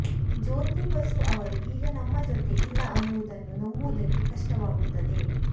ಜ್ಯೋತಿಬಸು ಅವರು ಈಗ ನಮ್ಮ ಜೊತೆ ಇಲ್ಲ ಅನ್ನುವುದನ್ನು ನಂಬುವುದಕ್ಕೆ ಕಷ್ಟವಾಗುತ್ತದೆ